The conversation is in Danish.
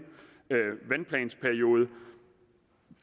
vandplansperiode